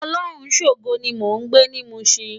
Olorunshogo ni mó n gbé ni Mushin